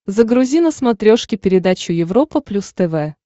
загрузи на смотрешке передачу европа плюс тв